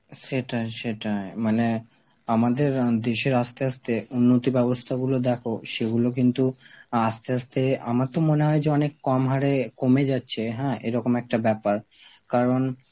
সেটাই সেটাই মানে আমাদের আঁ দেশের আস্তে আস্তে উন্নতি ব্যবস্থা গুলো দেখো, সেইগুলো কিন্তু আস্তে আস্তে আমার তো মনে হয় যে অনেক কমহারে কমে যাচ্ছে হ্যাঁ এরকম একটা ব্যাপার, কারণ